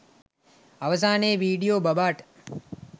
අවසානයේ විඩියෝ බබාට